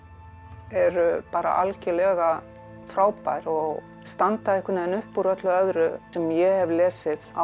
eru algjörlega frábær og standa einhvern upp úr öllu öðru sem ég hef lesið á